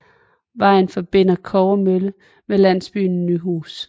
Vejen forbinder Kobbermølle med landsbyen Nyhus